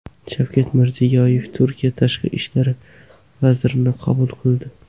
Shavkat Mirziyoyev Turkiya tashqi ishlar vazirini qabul qildi .